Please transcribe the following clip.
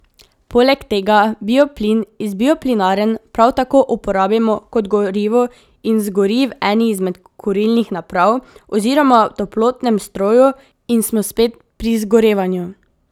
Poleg tega bioplin iz bioplinarn prav tako uporabimo kot gorivo in zgori v eni izmed kurilnih naprav oziroma v toplotnem stroju, in smo spet pri zgorevanju.